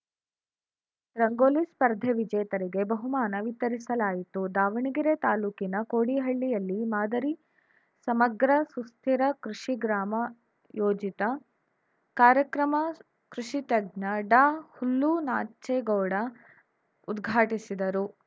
ರಂಗೋಲಿ ಸ್ಪರ್ಧೆ ವಿಜೇತರಿಗೆ ಬಹುಮಾನ ವಿತರಿಸಲಾಯಿತು ದಾವಣಗೆರೆ ತಾಲೂಕಿನ ಕೋಡಿಹಳ್ಳಿಯಲ್ಲಿ ಮಾದರಿ ಸಮಗ್ರ ಸುಸ್ಥಿರ ಕೃಷಿ ಗ್ರಾಮ ಯೋಜಿತ ಕಾರ್ಯಕ್ರಮ ಕೃಷಿತಜ್ಞ ಡಾಹುಲ್ಲುನಾಚೇಗೌಡ ಉದ್ಘಾಟಿಸಿದರು